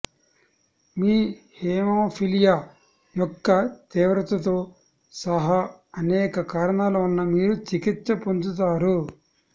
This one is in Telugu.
మీ హేమోఫిలియా యొక్క తీవ్రతతో సహా అనేక కారణాల వలన మీరు చికిత్స పొందుతారు